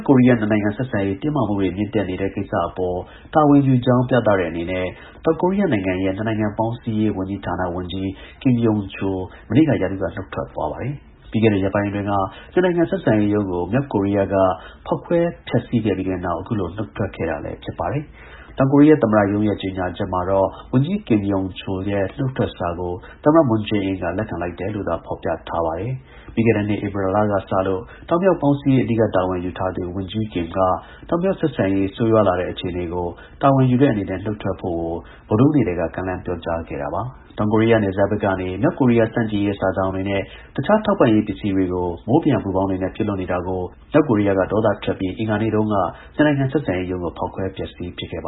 ကိုရီးယား နှစ်နိုင်ငံ ဆက်ဆံရေးတင်းမာမှုတွေမြင့်တက်နေတဲ့ကိစ္စအပေါ် တာဝန်ယူကြောင်း ပြသတဲ့ အနေနဲ့ တောင်ကိုရီးယားနိုင်ငံရဲ့ နှစ်နိုင်ငံပေါင်း စည်းရေးဝန်ကြီးဌာန ဝန်ကြီး Kim Yeon-chul မနေ့က ရာထူးက နှုတ်ထွက်သွားပါတယ်။ ပြီးခဲ့တဲ့ ရက်ပိုင်းအတွင်းက နှစ်နိုင်ငံ ဆက်ဆံရေးရုံးကို မြောက်ကိုရီးယားက ဖေါက်ခွဲဖျက်ဆီးခဲ့ပြီးတဲ့နောက် အခုလို နှုတ်ထွက်ခဲ့တာ လည်း ဖြစ်ပါတယ်။ တောင်ကိုရီးယား သမ္မတရုံးရဲ့ ထုတ်ပြန်ကြေညာချက်မှာတော့ ဝန်ကြီး Kim Yeon-chul ရဲ့နှုတ်ထွက်စာကို သမ္မတ Moon Jae-in က လက်ခံလိုက်တယ်လို့သာ ဖော်ပြထားပါတယ်။ ပြီးခဲ့တဲ့နှစ် ဧပြီကစလို့ တောင်-မြောက် ပေါင်းစည်းရေး အဓိက တာဝန်ယူထားသူ ဝန်ကြီး Kim က တောင်-မြောက် ဆက်ဆံရေး ဆိုးရွားလာတဲ့ အခြေအနေကို တာဝန်ယူတဲ့အနေနဲ့ နှုတ်ထွက်ဖို့ကို ဗုဒ္ဓဟူးနေ့ကတည်းက ကမ်းလှမ်းပြောကြားထားခဲ့တာပါ။ တောင်ကိုရီးယားနယ်စပ်ဘက်ကနေ မြောက်ကိုရီးယား ဆန့်ကျင်ရေး စာစောင်တွေနဲ့ တခြား ထောက်ပံ့ရေးပစ္စည်းတွေကို မိုးပျံပူပေါင်းတွေနဲ့ပစ်လွှတ်နေတာကို မြောက်ကိုရီးယားက ဒေါသထွက်ပြီး အင်္ဂါနေ့တုန်းက နှစ်နိုင်ငံဆက်ဆံရေးရုံး ကိုဖေါက်ခွဲ ဖျက်ဆီးပစ်ခဲ့တာပ